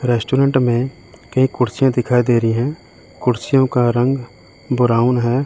Restaurant में कई कुर्सियां दिखाई दे रही है कुर्सियों का रंग ब्राउन है।